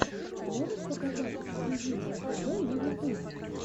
можешь показать эксклюзивное тв на ютубе